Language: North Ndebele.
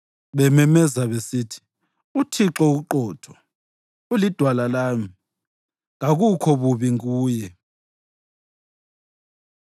bememezela besithi, “ UThixo uqotho; uliDwala lami, kakukho bubi kuye.”